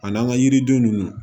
A n'an ka yiriden ninnu